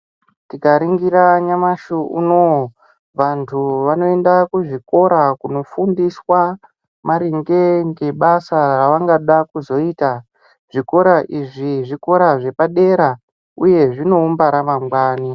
Tikaringira nyamashi unouyu vantu vanoenda kuzvikora kunofundiswa maringe nezvebasa ravangada kuzoita zvikoro izvi zvikora zvepadera uye zvinoumba ramangwani .